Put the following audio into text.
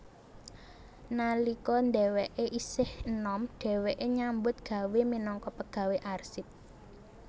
Nalika dheweke isih enom dheweke nyambut gawé minangka pegawai arsip